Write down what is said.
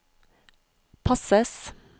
passes